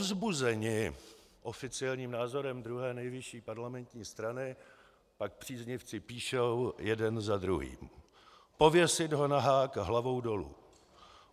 Povzbuzeni oficiálním názorem druhé nejvyšší parlamentní strany pak příznivci píší jeden za druhým: Pověsit ho na hák hlavou dolů.